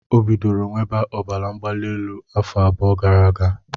O bidoro nwebe ọbara mgbali elu afọ abụọ gara aga.